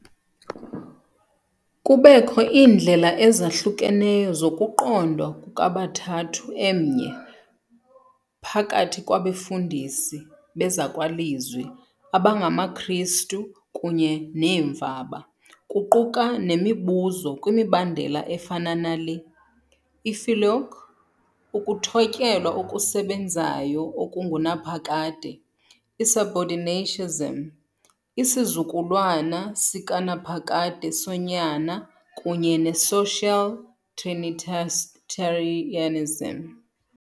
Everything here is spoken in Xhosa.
Kubekho iindlela ezahlukeneyo zokuqondwa kukaBathathu Emnye phakathi kwabefundisi bezakwalizwi abangamaKristu kunye neemvaba, kuquka nemibuzo kwimibandela efana nale- filioque, ukuthotyelwa okusebenzayo okungunaphakade, i-subordinationism, isizukulwana sikanaphakade soNyana kunye ne -social trinitarianism .